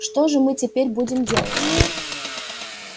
что же мы теперь будем делать